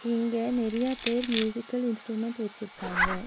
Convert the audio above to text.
இங்க நெறைய பேர் மியூசிக்கல் இன்ஸ்ட்ருமெண்ட் வச்சுருக்காங்க.